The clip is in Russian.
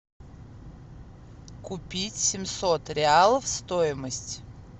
купить семьсот реалов стоимость